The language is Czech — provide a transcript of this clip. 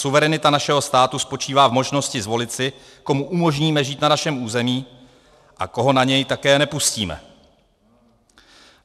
Suverenita našeho státu spočívá v možnosti zvolit si, komu umožníme žít na našem území a koho na něj také nepustíme.